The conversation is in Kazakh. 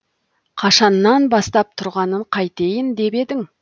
қашаннан бастап тұрғанын қайтейін деп едің